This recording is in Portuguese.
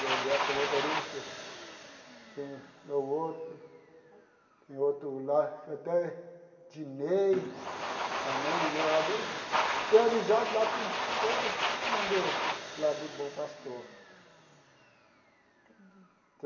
Tem o Beto que é motorista, tem o outro, tem outro lá, até Ednei também, tenho amizade lá com todo mundo lá do Bom Pastor.